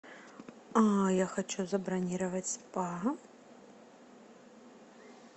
я хочу забронировать спа